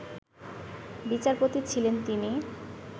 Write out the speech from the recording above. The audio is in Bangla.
বিচারপতি ছিলেন তিনি